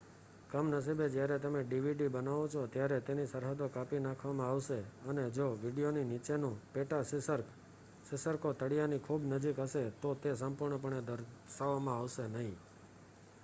કમનસીબે જ્યારે તમે ડીવીડી બનાવો છો ત્યારે તેની સરહદો કાપી નાખવામાં આવશે અને જો વીડિયોની નીચેનું પેટાશીર્ષક ો તળીયાની ખૂબ નજીક હશે તો તે સંપૂર્ણપણે દર્શાવવામાં આવશે નહીં